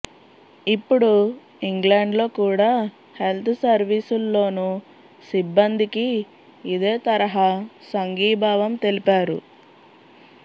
ఇప్పుడు ఇంగ్లండ్లో కూడా హెల్త్ సర్వీసుల్లోను సిబ్బందికి ఇదే తరహా సంఘీభావం తెలిపారు